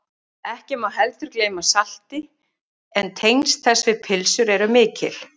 Ekki má heldur gleyma salti en tengsl þess við pylsur eru mikil.